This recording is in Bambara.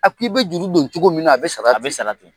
A k' i bɛ juru don cogo min na a bɛ sara ten, a bɛ sara ten.